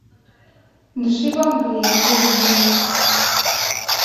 дыши во мгле выведи мне